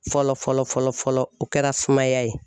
Fɔlɔ fɔlɔ fɔlɔ fɔlɔ o kɛra sumaya ye